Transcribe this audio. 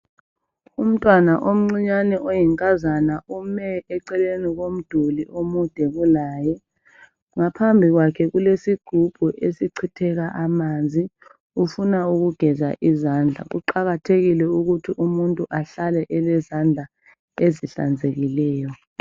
Umntwana omncinyane oyinkazana ome eceleni komduli omude kulaye ngaphambi kwakhe kulesigubhu esichitheka amanzi ufuna ukugeza izandla. Kuqakathekile ukuthi umuntu ahlale elezandla ezihlanzekileyo.